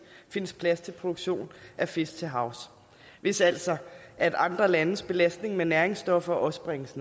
findes plads til produktion af fisk til havs hvis altså andre landes belastning med næringsstoffer også bringes